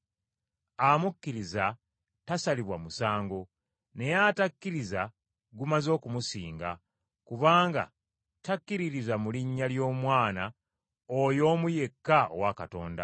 Amukkiriza tasalibwa musango, naye atakkiriza gumaze okumusinga kubanga takkiririza mu linnya ly’Omwana oyo omu yekka owa Katonda.